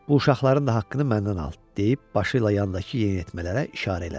Bu uşaqların da haqqını məndən al deyib başı ilə yandakı yeniyetmələrə işarə elədi.